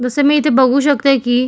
जस मी इथे बघू शकते की.